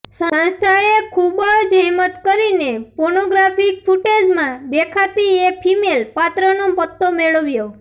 સંસ્થાએ ખૂબ જહેમત કરીને પોર્નોગ્રાફ્કિ ફૂટેજમાં દેખાતી એ ફીમેલ પાત્રનો પત્તો મેળવ્યો